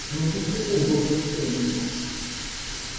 но почему доктор сэлдон